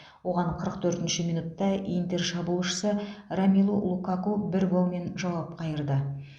оған қырық төртінші минутта интер шабуылшысы ромелу лукаку бір голмен жауап қайырды